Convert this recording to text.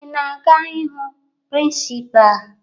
Ị na-aga ịhụ prịnsịpaa?